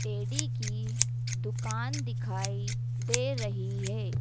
Teddy की दुकान दिखाई दे रही है।